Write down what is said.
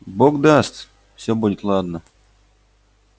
бог даст все будет ладно